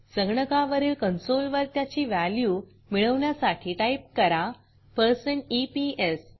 संगणकावरील कन्सोल वर त्याची व्हॅल्यू मिळवण्यासाठी टाईप करा160 ईपीएस